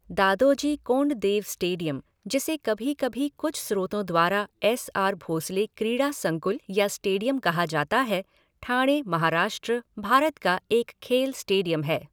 Dadoji Konddeo stadium, जिसे कभी कभी कुछ स्रोतों द्वारा एस आर भोसले क्रीड़ा संकुल या स्टेडियम कहा जाता है, ठाणे, महाराष्ट्र, भारत का एक खेल स्टेडियम है।